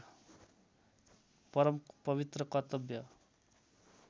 परम पवित्र कर्तव्य